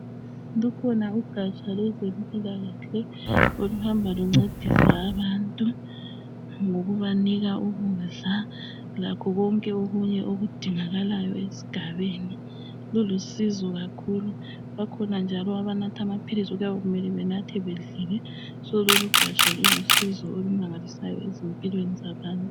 Lukhona ugatsha lwezempilakahle , okuhamba luncedisa abantu ngokubanika ukudla lakho konke okunye okudingakalayo esigabeni kulusizo kakhulu , bakhona njalo abanatha amaphilisi okuyabe benathe bedlile so lolugataha lulusizo olumangalisayo empilweni zabantu